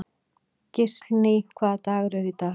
Gíslný, hvaða dagur er í dag?